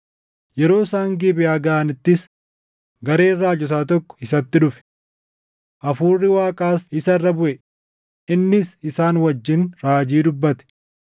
Yeroo isaan Gibeʼaa gaʼanittis gareen raajotaa tokko isatti dhufe; Hafuurri Waaqaas isa irra buʼe; innis isaan wajjin raajii dubbate.